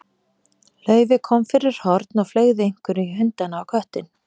Laufey kom fyrir horn og fleygði einhverju í hundana og köttinn.